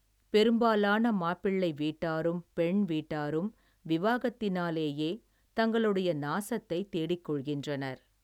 பெரும்பாலான மாப்பிள்ளை வீட்டாரும், பெண் வீட்டாரும், விவாகத்தினாலேயே, தங்களு நாசத்தை தேடிக் கொள்கின்றனர்.